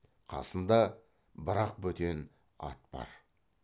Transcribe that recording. қасында бір ақ бөтен ат бар